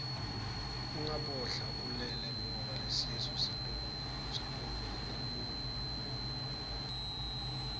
ungabodla ulele ngoba lesisu sitokhukhumuka